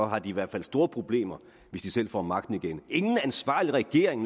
har de i hvert fald store problemer hvis de selv får magten igen naturligvis ingen ansvarlig regering